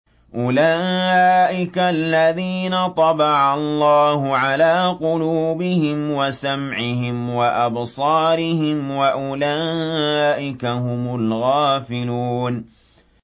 أُولَٰئِكَ الَّذِينَ طَبَعَ اللَّهُ عَلَىٰ قُلُوبِهِمْ وَسَمْعِهِمْ وَأَبْصَارِهِمْ ۖ وَأُولَٰئِكَ هُمُ الْغَافِلُونَ